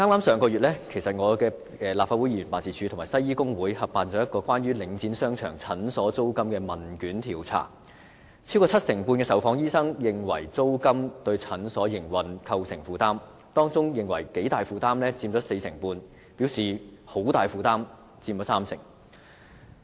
上個月，我的立法會議員辦事處和香港西醫工會合辦了一項關於領展商場診所租金的問卷調查，超過七成半的受訪醫生認為租金對診所營運構成負擔，當中認為頗大負擔的佔四成半，而表示很大負擔的則佔三成。